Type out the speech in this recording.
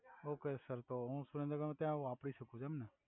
okay sir તો હુ સુરેંદ્રનગર મા ત્યા આ વાપરી સકુ છુ એમ ને